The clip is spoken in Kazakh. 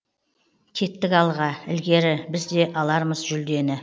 кеттік алға ілгері біз де алармыз жүлдені